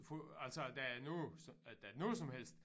Får altså at der er noget at der er noget som helst